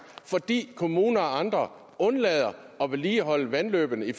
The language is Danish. fordi kommuner og andre undlader at vedligeholde vandløbene i